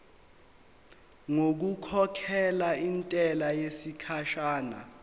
ngokukhokhela intela yesikhashana